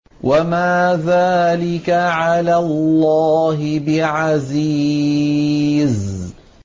وَمَا ذَٰلِكَ عَلَى اللَّهِ بِعَزِيزٍ